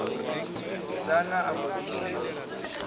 musidzana a mbo ḓi irwa